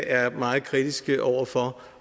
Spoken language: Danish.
er meget kritiske over for